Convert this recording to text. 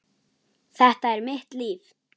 Þetta er mitt líf.